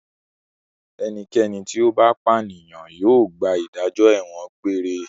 Ẹnikẹ́ni tí ó bá pànìyàn yóò gba ìdájọ́ ẹ̀wọ̀n egbére.